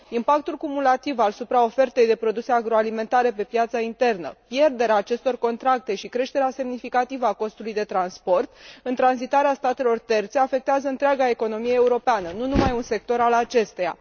Impactul cumulativ al supraofertei de produse agroalimentare pe piața internă, pierderea acestor contracte și creșterea semnificativă a costului de transport în tranzitarea statelor terțe afectează întreaga economie europeană, nu numai un sector al acesteia.